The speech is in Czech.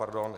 Pardon.